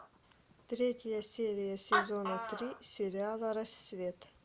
третья серия сезона три сериала рассвет